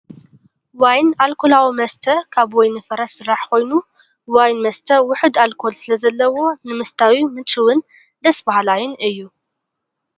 ዋይን ኣልኮላዊ መስተ ካብ ወይኒ ፍረ ዝስራሕ ኮይኑ ፣ ዋይን መስተ ውሑድ ኣልኮል ስለ ዘለዎ ንምስታዩ ምቹውን ደስ ባሃላይን እዩ ።